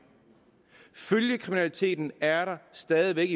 følgekriminaliteten er der stadig væk